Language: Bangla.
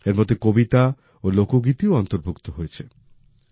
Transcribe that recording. এর মধ্যে কবিতা ও লোকগীতি ও অন্তর্ভুক্ত রয়েছে